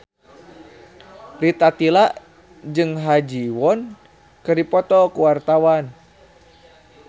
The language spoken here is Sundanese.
Rita Tila jeung Ha Ji Won keur dipoto ku wartawan